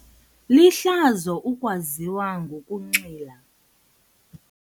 Lihlazo ukwaziwa ngokunxila.